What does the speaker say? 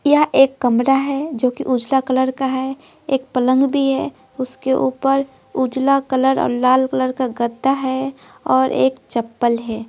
यह एक कमरा है जो कि उजला कलर का है एक पलंग भी है उसके ऊपर उजला कलर और लाल कलर का गद्दा है और एक चप्पल है।